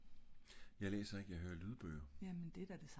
Jeg læser ikke jeg høre lydbøger